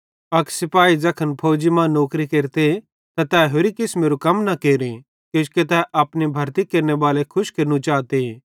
अक सिपाही ज़ैखन फौजी मां नौकरी केरते त तै होरि किसमेरू कम न केरे किजोकि तै अपने भरती केरनेबाले खुश केरनू चाते